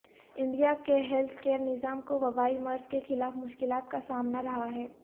India کے health care نظام کو وبائی مرض کے خلاف مشکلات کا سامنا رہا ہے